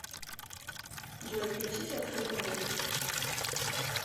джой включите открытый мир